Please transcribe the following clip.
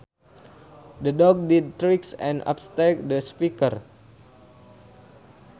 The dog did tricks and upstaged the speaker